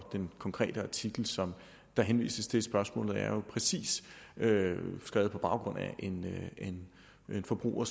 den konkrete artikel som der henvises til spørgsmålet er jo præcis skrevet på baggrund af at en forbruger